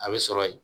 A bɛ sɔrɔ yen